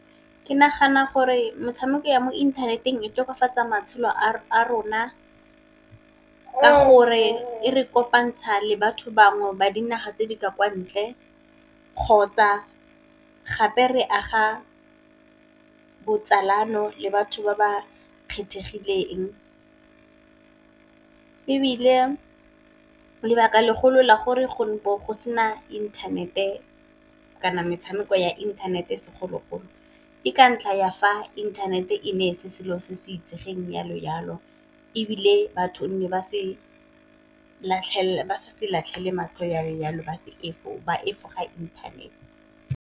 Ke nagana gore metshameko ya mo inthaneteng e tokafatsa matshelo a rona ka gore e re kopantsha le batho bangwe ba dinaga tse di ka kwa ntle, kgotsa gape re aga botsalano le batho ba ba kgethegileng. Ebile lebaka le golo la gore go be go sena inthanete, kana metshameko ya inthanete segololo ke ka ntlha ya fa inthanete e ne e se selo se se itsegeng jalo jalo, ebile batho nne ba sa se latlhelele matlho jalo jalo ba efoga inthanete.